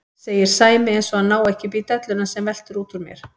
segir Sæmi eins og hann nái ekki upp í delluna sem veltur út úr mér.